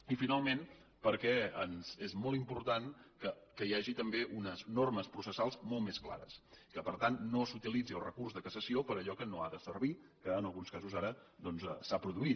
i finalment perquè és molt important que hi hagi també unes normes processals molt més clares i que per tant no s’utilitzi el recurs de cassació per a allò que no ha de servir que en alguns casos ara doncs s’ha produït